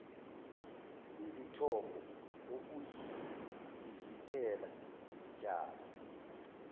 izithombo okuyizivikela zitshalo